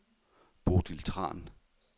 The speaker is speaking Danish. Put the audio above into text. Bodil Tran